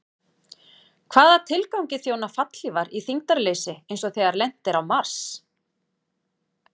Hvaða tilgangi þjóna fallhlífar í þyngdarleysi eins og þegar lent er á Mars?